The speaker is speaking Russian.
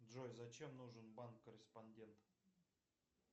джой зачем нужен банк корреспондент